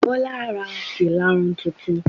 Bọlá ra ìlarun tutun.